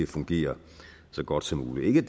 at fungere så godt som muligt ikke